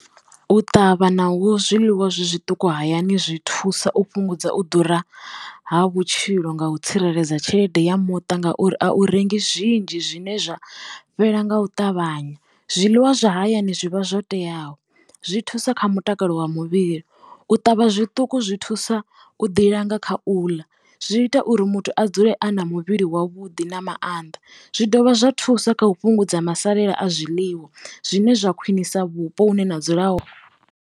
U ṱavha naho zwiḽiwa zwi zwiṱuku hayani zwi thusa u fhungudza u ḓura ha vhutshilo nga u tsireledza tshelede ya muṱa ngauri a u rengi zwinzhi zwine zwa fhela nga u ṱavhanya. Zwiḽiwa zwa hayani zwivha zwo teaho zwi thusa kha mutakalo wa muvhili, u ṱavha zwituku zwi thusa u ḓi langa kha u ḽa zwi ita uri muthu a dzule a na muvhili wavhuḓi na mannḓa zwi dovha zwa thusa kha u fhungudza masalela a zwiḽiwa zwine zwa khwiṋisa vhupo hune na dzula